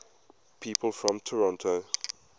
people from toronto